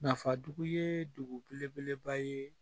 Nafadugu ye degun belebeleba ye